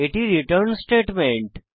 এটি আমাদের return statement